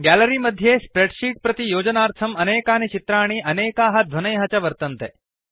gallery मध्ये spreadsheet प्रति योजनार्थं अनेकानि चित्राणि अनेकाः ध्वनयः च वर्तन्ते